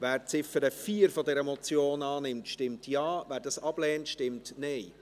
Wer die Ziffer 4 dieser Motion annimmt, stimmt Ja, wer dies ablehnt, stimmt Nein.